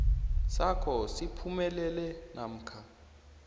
sakho siphumelele namkha